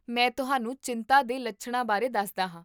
ਮੈਂ ਤੁਹਾਨੂੰ ਚਿੰਤਾ ਦੇ ਲੱਛਣਾਂ ਬਾਰੇ ਦੱਸਦਾ ਹਾਂ